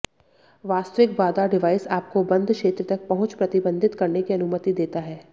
वास्तविक बाधा डिवाइस आपको बंद क्षेत्र तक पहुंच प्रतिबंधित करने की अनुमति देता है